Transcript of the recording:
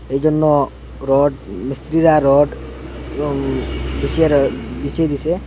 এইজন্য রড মিস্ত্রিরা রড এবং বিচিয়ারা বিচিয়ে দিসে।